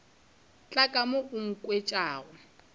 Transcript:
tla ka mo a nkhwetša